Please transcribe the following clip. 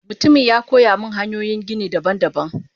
Mutumin yakoyamin hanyoyin gini daban daban.